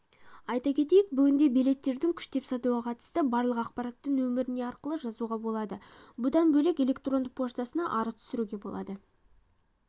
айта кетейік бүгінде билеттерін күштеп сатуға қатысты барлық ақпаратты нөміріне арқылы жазуға болады бұдан бөлек электронды поштасына арыз түсіруге болады